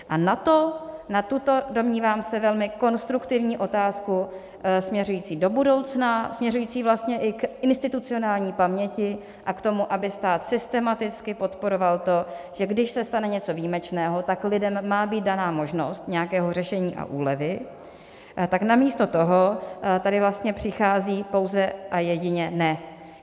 A na to, na tuto, domnívám se, velmi konstruktivní otázku směřující do budoucna, směřující vlastně i k institucionální paměti a k tomu, aby stát systematicky podporoval to, že když se stane něco výjimečného, tak lidem má být dána možnost nějakého řešení a úlevy, tak namísto toho tady vlastně přichází pouze a jedině "ne".